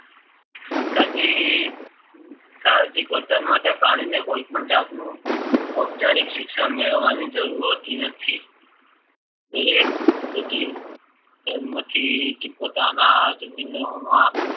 સજીવ પોતાના માટે પ્રાણીને કોઈપણ જાતનું ઔપચારિક શિક્ષણ મેળવવાની જરૂર હોતી નથી. દરેક સજીવ જન્મથી જ પોતાના જમીનનો